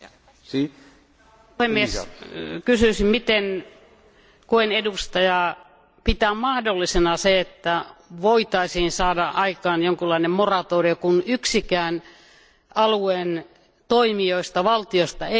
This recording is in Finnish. Arvoisa puhemies, kysyisin miten GUE NGL ryhmän edustaja pitää mahdollisena sitä, että voitaisiin saada aikaan jonkinlainen moratorio, kun yksikään alueen toimijoista, valtioista, ei sitä halua?